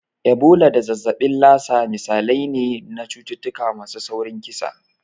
Ebola da zazzabin Lassa misalai ne na cututtuka masu saurin kisa.